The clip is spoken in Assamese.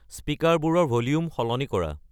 স্পিকাৰবোৰৰ ভলিউম সলনি কৰা